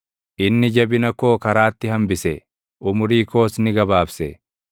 Inni jabina koo karaatti hambise; umurii koos ni gabaabse.